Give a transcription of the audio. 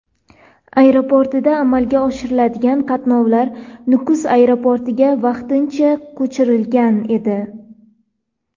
Aeroportidan amalga oshiriladigan qatnovlar Nukus aeroportiga vaqtincha ko‘chirilgan edi.